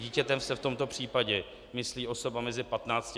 Dítětem se v tomto případě myslí osoba mezi 15 až 18 lety.